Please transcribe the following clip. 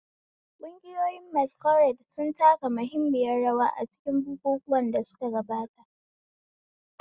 Ƙungiyoyin Masquerade sun taka muhimmiyar rawa a cikin bukukuwan da suka gabata.